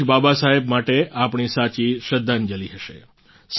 આ જ બાબા સાહેબ માટે આપણી સાચી શ્રદ્ધાંજલિ હશે